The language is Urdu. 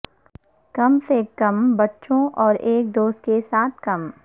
کم سے کم بچوں اور ایک دوست کے ساتھ کم